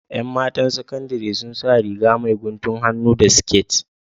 ’Yan matan saƙandiri sun sa Riga mai guntun hannu da siƙet